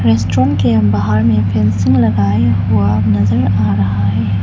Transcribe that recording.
Restaurant के बाहर में फेंसिंग लगाया हुआ नजर आ रहा है।